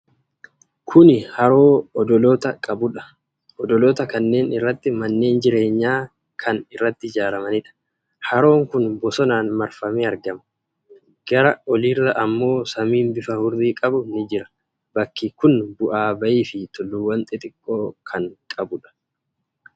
Kuni haroo odoloota qabudha. Odoloota kanneen irratti manneen jireenyaa kan irratti ijaaramaniidha. Haroon kun bosonaan marfamee argama. Gara olirra ammoo samiin bifa hurrii qabu ni jira. Bakki kun bu'aa bayii fi tulluuwwan xixiqqoo kan qabuudha.